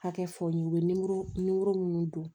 Hakɛ fɔ n ye u bɛ nimoro minnu don